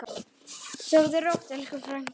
Sofðu rótt, elsku frænka.